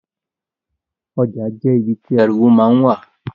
Oja je ibi ti ariwo ma n wa.